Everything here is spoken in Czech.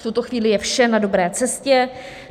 V tuto chvíli je vše na dobré cestě.